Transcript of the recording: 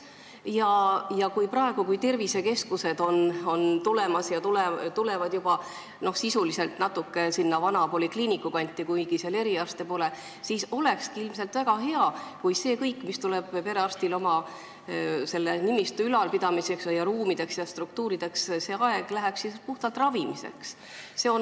Praegu, kui tulevad tervisekeskused, mis on sisuliselt juba natuke sinna vana polikliiniku kanti, kuigi seal eriarste pole, siis oleks ilmselt väga hea, kui kõik see aeg, mis perearstil kulub oma nimistu ülalpidamiseks, ruumideks ja struktuurideks, läheks puhtalt ravimiseks.